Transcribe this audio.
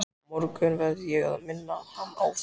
Á morgun verð ég að minna hann á það.